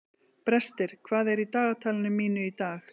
Brestir, hvað er í dagatalinu mínu í dag?